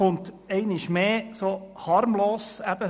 Es kommt einmal mehr ganz harmlos daher.